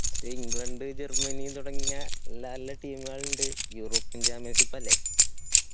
England Germany തുടങ്ങിയ നല്ല നല്ല team മുകൾ ഇണ്ട് european championship അല്ലെ.